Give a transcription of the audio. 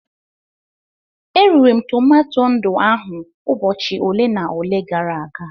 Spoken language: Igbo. E riri m tomato ndụ ahụ ụbọchị ole na ole gara aga.